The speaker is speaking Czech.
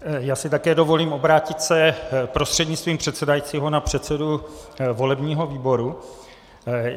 Já si také dovolím obrátit se prostřednictvím předsedajícího na předsedu volebního výboru.